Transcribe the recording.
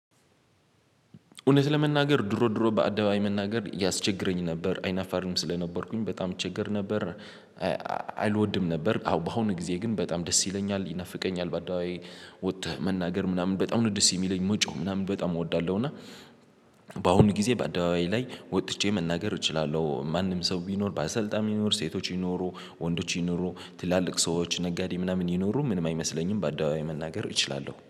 እውነት ለመናገር ድሮ ድሮ በአደባይ መናገር ያስቸግረኝ ነበር አይናፋርም ስለነበርኩኝ በጣም እቸገር ነበር። አልወድም ነበር አሁን በአሁኑ ጊዜ ግን በጣም ደስ ይለኛል ይናፍቀኛል በአደባባይ። ወጥተህ መናገር ምናምን በጣም ደስ የሚለኝ መጮህ ምናምን በጣም እወዳለሁ። እና በአሁኑ ጊዜ በአደባባይ ላይ ወጥቼ መናገር እችላለሁ። ማንም ሰው ቢኖር በአሰልጣኝ ሊኖር ሴቶች ይኖሩ ወንዶች ይኖሩ ትላልቅ ሰዎች ነጋዴ ምናምን ይኖሩ ምንም አይመስለኝም። በአደባባይ መናገር እችላለሁ